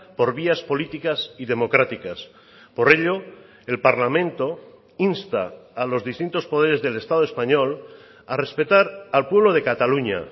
por vías políticas y democráticas por ello el parlamento insta a los distintos poderes del estado español a respetar al pueblo de cataluña